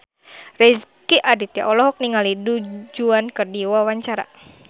Rezky Aditya olohok ningali Du Juan keur diwawancara